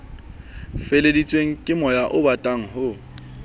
feleheditsweng kemoya obatang le ho